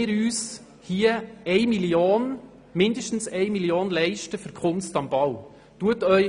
Wollen wir uns mindestens 1 Mio. Franken für Kunst am Bau leisten?